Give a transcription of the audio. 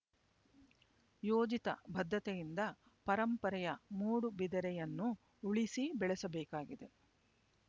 ಯೋಜಿತ ಬದ್ಧತೆಯಿಂದ ಪರಂಪರೆಯ ಮೂಡುಬಿದಿರೆಯನ್ನು ಉಳಿಸಿ ಬೆಳೆಸಬೇಕಾಗಿದೆ